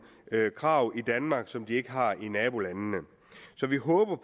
krav i danmark som de ikke har i nabolandene så vi håber